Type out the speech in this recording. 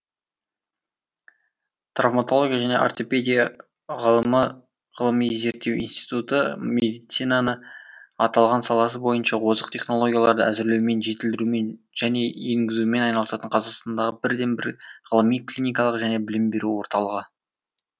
травматология және ортопедия ғылыми зерттеу институты медицинаны аталған саласы бойынша озық технологияларды әзірлеумен жетілдірумен және енгізумен айналысатын қазақстандағы бірден бір ғылыми клиникалық және білім беру орталығы